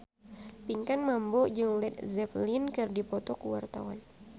Pinkan Mambo jeung Led Zeppelin keur dipoto ku wartawan